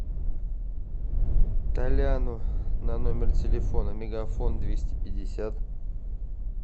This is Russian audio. толяну на номер телефона мегафон двести пятьдесят